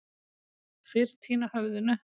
Fyrr týna höfðinu.